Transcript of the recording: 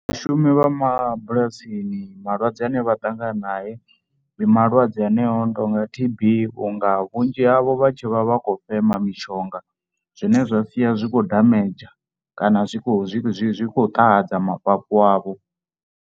Vhashumi vha mabulasini malwadze ane vha ṱangana nae ndi malwadze aneyo a no tou nga T_B vhunga vhunzhi havho vha tshe vha vha khou fema mishonga, zwine zwa sia zwi tshi khou damage kana zwi khou, zwi khou ṱahadza mafhafhu avho.